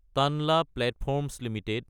Tanla platforms Ltd